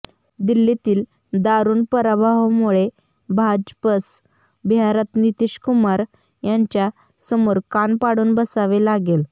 दिल्लीतील दारुण पराभवामुळे भाजपस बिहारात नितीशकुमार यांच्यासमोर कान पाडून बसावे लागेल